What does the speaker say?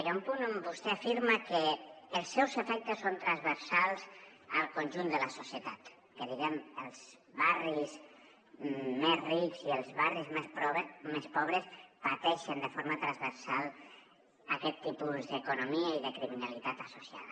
hi ha un punt on vostè afirma que els seus efectes són transversals al conjunt de la societat que diguem ne els barris més rics i els barris més pobres pateixen de forma transversal aquest tipus d’economia i de criminalitat associada